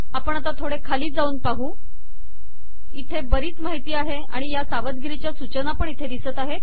आपण आता थोडे खाली जाऊन पाहू इथे बरीच माहिती आहे आणि या सवदगीरीच्या सूचनापण इथे दिसत आहेत